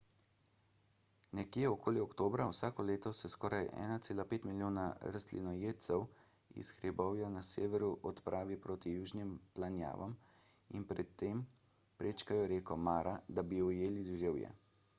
nekje okoli oktobra vsako leto se skoraj 1,5 milijona rastlinojedcev iz hribovja na severu odpravi proti južnim planjavam in pri tem prečkajo reko mara da bi ujeli deževje